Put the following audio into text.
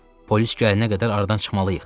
Polis gələnə qədər aradan çıxmalıyıq.